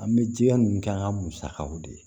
An bɛ jija n'an ka musakaw de ye